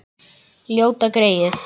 Ljóta greyið.